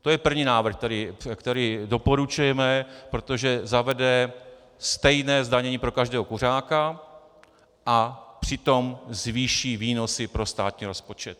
To je první návrh, který doporučujeme, protože zavede stejné zdanění pro každého kuřáka a přitom zvýší výnosy pro státní rozpočet.